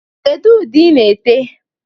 Kedu ude i na-ete?